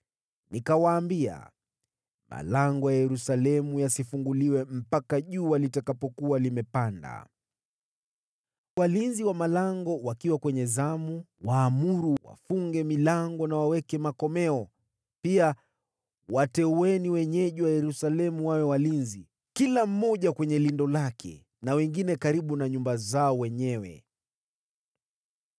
Nikawaambia, “Malango ya Yerusalemu yasifunguliwe mpaka jua litakapokuwa limepanda. Walinzi wa malango wakiwa bado kwenye zamu, waamuru wafunge milango na waweke makomeo. Pia wateueni wenyeji wa Yerusalemu wawe walinzi, kila mmoja kwenye lindo lake, na wengine karibu na nyumba zao wenyewe.”